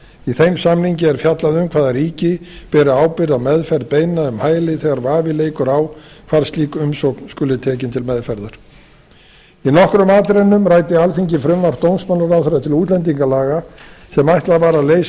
í þeim samningi er fjallað um hvaða ríki beri ábyrgð á meðferð beiðna um hæli þegar vafi leikur á hvar slík umsókn skuli tekin til meðferðar í nokkrum atriðum ræddi alþingi frumvarp dómsmálaráðherra til útlendingalaga sem ætlað var að leysa